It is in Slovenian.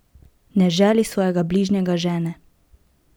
Ne želi svojega bližnjega žene!